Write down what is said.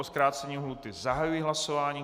O zkrácení lhůty zahajuji hlasování.